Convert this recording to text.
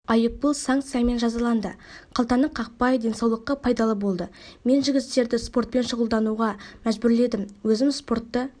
айыппұл санкциямен жазаланды қалтаны қақпай денсаулыққа пайдалы болды мен жігіттерді спортпен шұғылдануға мәжбүрледім өзім спортты